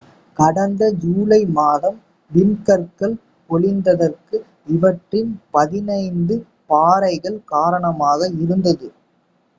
கடந்த ஜூலை மாதம் விண்கற்கள் பொழிந்ததற்கு இவற்றின் பதினைந்து பாறைகள் காரணமாக இருந்தது